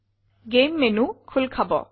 game menu খোল খাব